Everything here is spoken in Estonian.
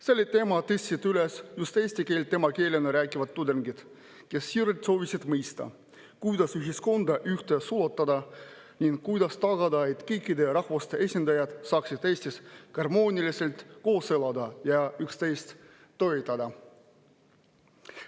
Selle teema tõstsid üles just eesti keelt emakeelena rääkivad tudengid, kes siiralt soovisid mõista, kuidas ühiskonda ühte sulatada ning kuidas tagada, et kõikide rahvuste esindajad saaksid Eestis harmooniliselt koos elada ja üksteist toetada.